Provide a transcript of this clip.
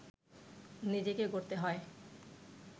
নিজেকে গড়তে হয়